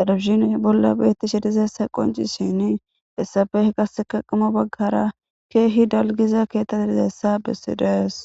dadabshin bolla beetti sheedizassa qoncisini issabeh qaseka qimo baggara keehi dalgiza keettati dizayessa bessi does.